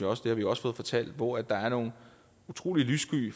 også det har vi også fået fortalt hvor der er nogle utrolig lyssky